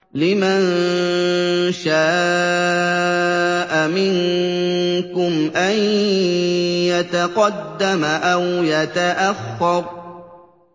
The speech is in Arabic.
لِمَن شَاءَ مِنكُمْ أَن يَتَقَدَّمَ أَوْ يَتَأَخَّرَ